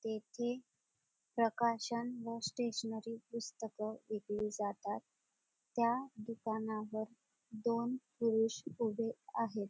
येथे प्रकाशन व स्टेशनरी पुस्तक विकली जातात त्या दुकानावर दोन पुरुष उभे आहेत.